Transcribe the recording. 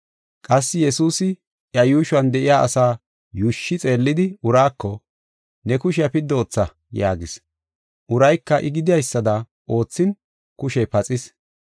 Qassi Yesuusi iya yuushuwan de7iya asaa yuushshi xeellidi uraako, “Ne kushiya piddi ootha” yaagis. Urayka I gidaysada oothin kushey paxis.